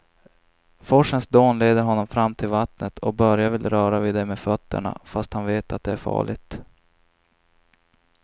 Forsens dån leder honom fram till vattnet och Börje vill röra vid det med fötterna, fast han vet att det är farligt.